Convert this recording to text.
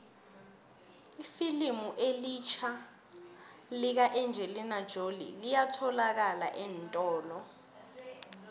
ifilimu elitjha lika engelina jolie liyatholalakala eentolo